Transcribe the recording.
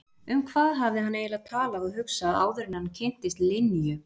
Um hvað hafði hann eiginlega talað og hugsað áður en hann kynntist Linju?